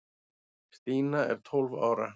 Stína var tólf ára.